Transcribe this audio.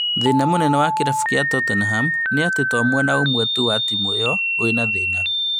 Thĩna mũnene na kĩrabu gĩa Tottenham nĩ atĩ to mwena ũmwe tu wa timũ ĩyo wĩna thĩna